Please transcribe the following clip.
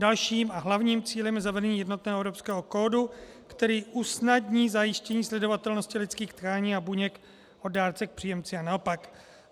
Dalším a hlavním cílem je zavedení jednotného evropského kódu, který usnadní zajištění sledovatelnosti lidských tkání a buněk od dárce k příjemci a naopak.